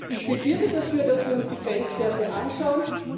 Ich plädiere dafür, dass wir uns die Grenzwerte anschauen.